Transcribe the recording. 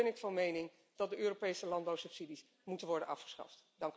Voorts ben ik van mening dat de Europese landbouwsubsidies moeten worden afgeschaft.